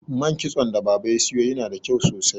man kitson da baba ya siyo yana da kyau sosai